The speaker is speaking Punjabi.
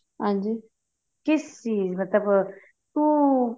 ਹਾਂਜੀ ਕਿਸ ਚੀਜ਼ ਮਤਲਬ ਤੂੰ